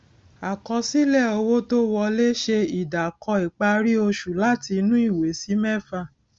àkọsílẹ owó tó wolẹ ṣe ìdàkọ ìparí oṣù láti inú ìwé sí mẹfà